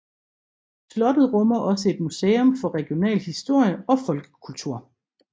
Slottet rummer også et museum for regional historie og folkekultur